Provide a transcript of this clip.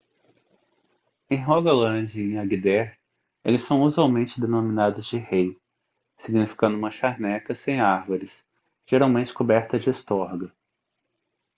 em rogaland e em agder eles são usualmente denominados de hei significando uma charneca sem árvores geralmente coberta de estorga